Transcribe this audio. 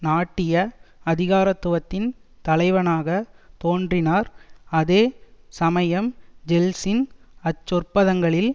நாட்டிய அதிகாரத்துவத்தின் தலைவனாக தோன்றினார் அதே சமயம் ஜெல்ட்சின் அச்சொற்பதங்களில்